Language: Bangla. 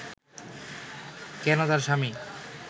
কেন তার স্বামী